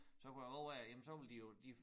Så kunne jeg love at jamen så ville de jo de